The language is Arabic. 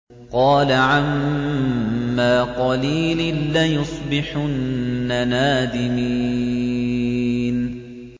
قَالَ عَمَّا قَلِيلٍ لَّيُصْبِحُنَّ نَادِمِينَ